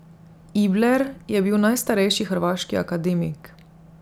Ibler je bil najstarejši hrvaški akademik.